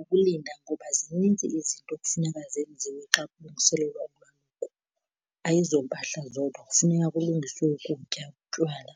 Ukulinda ngoba zininzi izinto ekufuneka zenziwe xa kulungiselelwa ulwaluko, ayizompahla zodwa. Kufuneka kulungiswe ukutya, utywala,